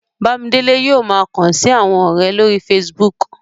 Bámidélé yóò ma kàn sí àwọn ọ̀rẹ̀ lórí Facebook